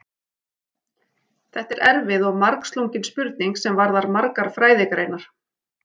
Þetta er erfið og margslungin spurning sem varðar margar fræðigreinar.